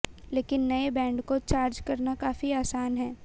लेकिन नए बैंड को चार्ज करना काफी आसान है